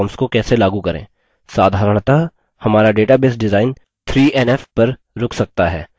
साधारणतः हमारा database design 3nf पर रुक सकता है